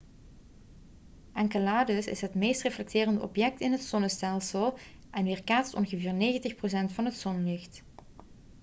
enceladus is het meest reflecterende object in het zonnestelsel en weerkaatst ongeveer 90 procent van het zonlicht